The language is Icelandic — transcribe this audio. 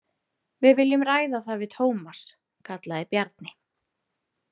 Við viljum ræða það við Tómas, kallaði Bjarni.